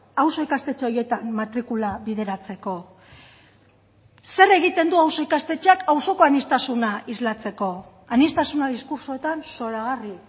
auzo ikastetxe horietan matrikula bideratzeko zer egiten du auzo ikastetxeak auzoko aniztasuna islatzeko aniztasuna diskurtsoetan zoragarri